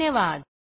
धन्यवाद